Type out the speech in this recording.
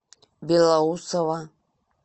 белоусово